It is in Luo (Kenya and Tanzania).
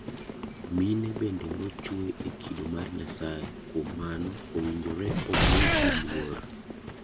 Mine bende nochwe e kido mar Nyasaye kuom mano owinjore omigi luor.